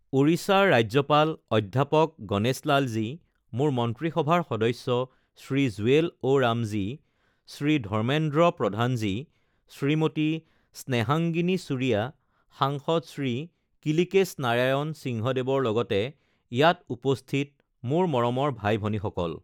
ওড়িশাৰ ৰাজ্যপাল অধ্যাপক গণেশলালজী, মোৰ মন্ত্ৰীসভাৰ সদস্য শ্ৰী জুৱেল অ ৰামজী, শ্ৰী ধৰ্মেন্দ্ৰ প্ৰধানজী, শ্ৰীমতী স্নেহাংগিনী ছুৰিয়া, সাংসদ শ্ৰী কিলীকেশ নাৰায়ণ সিংহদেৱৰ লগতে ইয়াত উপস্থিত মোৰ মৰমৰ ভাই ভনীসকল,